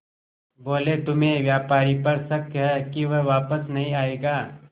बोले तुम्हें व्यापारी पर शक है कि वह वापस नहीं आएगा